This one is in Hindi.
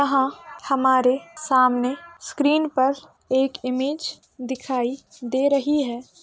आहा हमारे सामने स्क्रीन पर एक इमेज दिखाई दे रही है।